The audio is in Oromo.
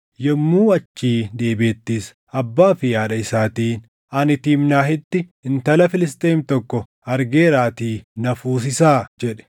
Yommuu achii deebiʼettis abbaa fi haadha isaatiin, “Ani Tiimnaahitti intala Filisxeem tokko argeeraatii na fuusisaa” jedhe.